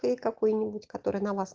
ты какой нибудь который на вас